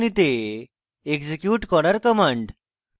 execute করার commands